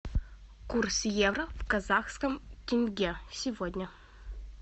курс евро в казахском тенге сегодня